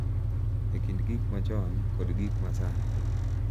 E kind gik machon kod gik ma sani